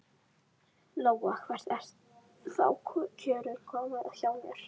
Lóa: Hvert eru þá kjörin komin hjá þér?